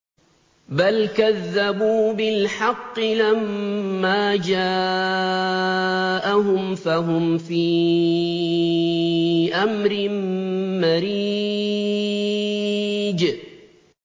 بَلْ كَذَّبُوا بِالْحَقِّ لَمَّا جَاءَهُمْ فَهُمْ فِي أَمْرٍ مَّرِيجٍ